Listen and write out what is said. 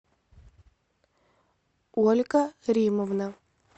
ольга риммовна